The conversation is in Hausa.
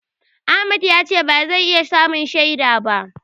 Ahmad ya ce ba zai iya zama shaida ba.